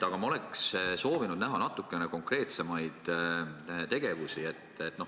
Aga oleks soovinud näha natukene konkreetsemaid tegevusi.